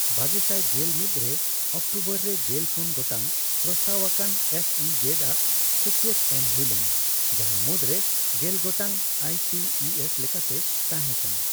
ᱵᱟᱜᱮᱥᱟᱭ ᱜᱮᱞ ᱢᱤᱛ ᱨᱮ ᱚᱠᱴᱳᱵᱚᱨ ᱨᱮ ᱜᱮᱞ ᱯᱩᱱ ᱜᱚᱴᱟᱝ ᱯᱨᱚᱥᱛᱟᱵ ᱟᱠᱟᱱ ᱮᱥ ᱤ ᱡᱮᱰ ᱟᱜ ᱥᱟᱹᱠᱭᱟᱹᱛ ᱮᱢ ᱦᱩᱭ ᱞᱮᱟᱱ, ᱡᱟᱦᱟ ᱢᱩᱫᱨᱮ ᱜᱮᱞ ᱜᱚᱴᱟᱝ ᱟᱭ ᱴᱤ ᱤ ᱮᱥ ᱞᱮᱠᱟᱛᱮ ᱛᱟᱦᱮ ᱠᱟᱱᱟ ᱾